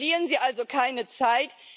Verlieren Sie also keine Zeit.